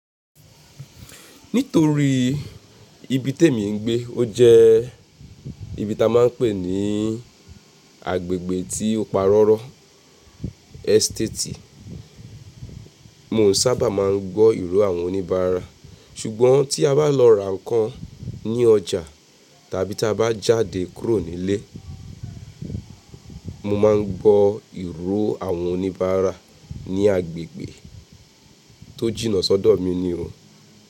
Nítorí ibi tèmi ń gbé ó jẹ́ ibi tá máa ń pè ní agbègbè tí ó pa rọ́rọ́ estate, mi ò sábà máa ń gbọ́ ìró àwọn oníbàárà. Ṣùgbọ́n tí a bá lọ ra nǹkan ní ọjà tàbí tí a bá jáde kúrò nílé, mo máa ń gbọ́ ìró àwọn oníbàárà ní agbègbè tó jìnnà sọ́dọ̀ mi nì o.